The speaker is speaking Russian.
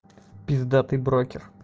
пиздатый брокер